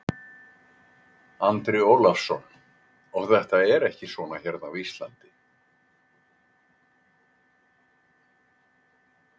Andri Ólafsson: Og þetta er ekki svona hérna á Íslandi?